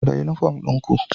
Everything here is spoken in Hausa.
Cire uniform ɗin ku